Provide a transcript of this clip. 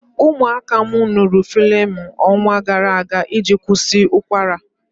Ụmụaka m ṅụrụ Flemin ọnwa gara aga iji kwụsị ụkwara.